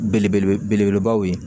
Belebele belebaw ye